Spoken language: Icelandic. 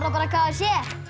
bara k f c svo